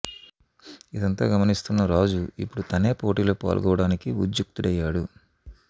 ఇదంతా గమనిస్తున్న క రాజు యిపుడు తనే పోటీలో పాల్గోవడానికి ఉద్యుక్తుడయ్యాడు